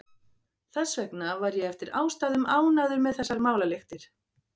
Þess vegna var ég eftir ástæðum ánægður með þessar málalyktir.